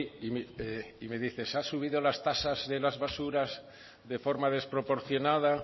y mi me dice se ha subido las tasas de las basuras de forma desproporcionada